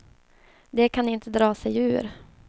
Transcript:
De kan inte dra sig ur.